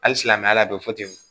Hali silamɛya la doro fɔ ten